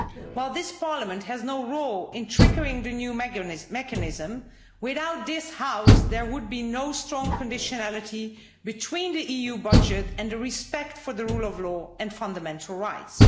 While this Parliament has no role in triggering the new mechanism, without this House there would be no strong conditionality between the EU budget and respect for the rule of law and fundamental rights.